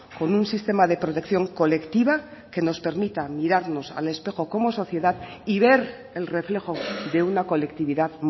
con un sistema de protección colectiva que nos permita mirarnos al espejo como sociedad y ver el reflejo de una colectividad